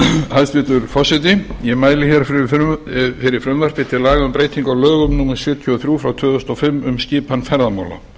hæstvirtur forseti ég mæli fyrir frumvarpi til laga um breytingu á lögum númer sjötíu og þrjú tvö þúsund og fimm um skipan ferðamála